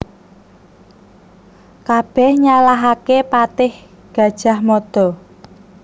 Kabèh nyalahaké patih Gajah Mada